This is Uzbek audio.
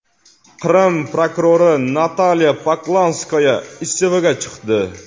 Qrim prokurori Natalya Poklonskaya iste’foga chiqdi.